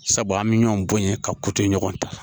Sabu an bɛ ɲɔn bɔn yen ka ɲɔgɔn ta